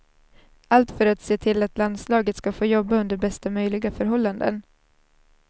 Allt för att se till att landslaget ska få jobba under bästa möjliga förhållanden.